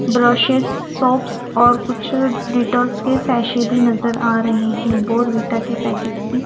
Brushes soaps और कुछ Dettols के सैशे भी नजर आ रहे हैं बोरवीटा के पैकेट्स भी।